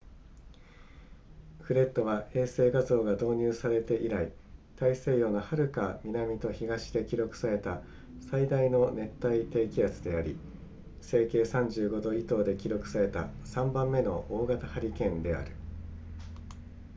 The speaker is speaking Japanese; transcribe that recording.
フレッドは衛星画像が導入されて以来大西洋のはるか南と東で記録された最大の熱帯低気圧であり西経35度以東で記録された3番目の大型ハリケーンである